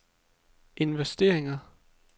investering